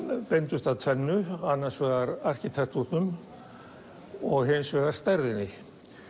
beindust að tvennu annars vegar arkitektúrnum og hins vegar stærðinni